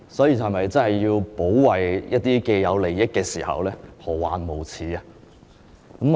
要保衞一些既得利益時，何患無辭？